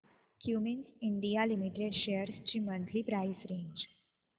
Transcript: Cummins India limited shares ची monthly price range